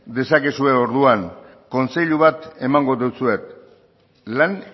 dezakezue orduan aholku bat emango deutsuet lan